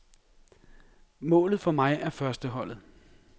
Målet for mig er førsteholdet.